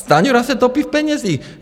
Stanjura se topí v penězích.